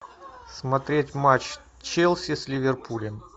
смотреть матч челси с ливерпулем